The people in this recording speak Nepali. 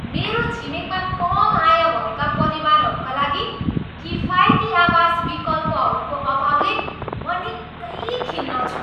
मेरो छिमेकमा कम आय भएका परिवारहरूका लागि किफायती आवास विकल्पहरूको अभावले म निकै खिन्न छु।